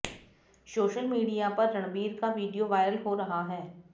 social media पर रणबीर का video viral हो रहा है